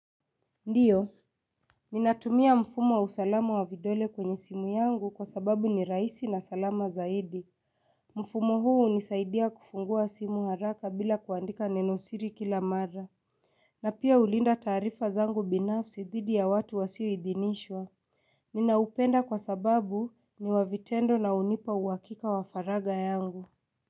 Ndiyo, ninatumia mfumo wa usalama wa vidole kwenye simu yangu kwa sababu ni rahisi na salama zaidi. Mfumo huu hunisaidia kufungua simu haraka bila kuandika nenosiri kila mara. Na pia hulinda taarifa zangu binafsi dhidi ya watu wasioidhinishwa. Ninaupenda kwa sababu ni wa vitendo na hunipa uhakika wa faragha yangu.